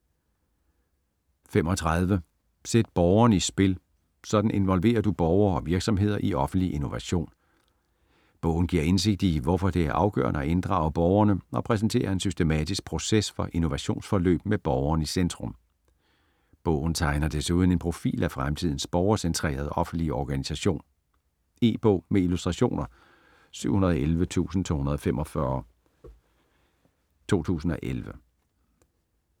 35 Sæt borgeren i spil: sådan involverer du borgere og virksomheder i offentlig innovation Bogen giver indsigt i, hvorfor det er afgørende at inddrage borgerne, og præsenterer en systematisk proces for innovationsforløb med borgeren i centrum. Bogen tegner desuden en profil af fremtidens borgercentrerede offentlige organisation. E-bog med illustrationer 711245 2011.